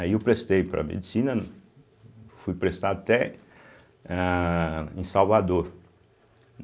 Aí eu prestei para Medicina, fui prestar até ahh em Salvador.